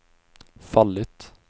fallit